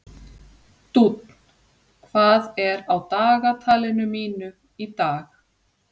Dúnn, hvað er á dagatalinu mínu í dag?